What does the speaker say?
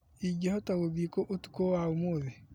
Ingĩhota gũthiĩ kũ ũtukũ wa ũmũthĩ ?